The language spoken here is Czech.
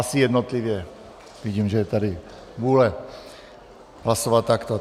Asi jednotlivě, vidím, že je tady vůle hlasovat takto.